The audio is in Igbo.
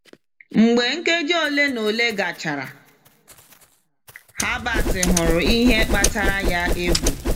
Mgbe nkeji ole na ole gachara, Herbert hụrụ ihe kpatara ya egwu.